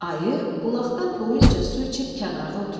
Ayı bulaqdan doyunca su içib kənarda oturdu.